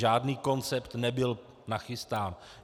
Žádný koncept nebyl nachystán.